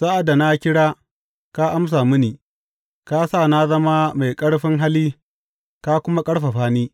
Sa’ad da na kira, ka amsa mini; ka sa na zama mai ƙarfin hali ka kuma ƙarfafa ni.